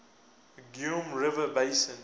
geum river basin